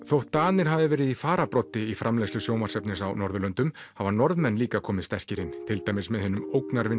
þótt Danir hafi verið í fararbroddi í framleiðslu sjónvarpsefnis á Norðurlöndum hafa Norðmenn líka komið sterkir inn til dæmis með hinum